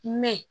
Mɛ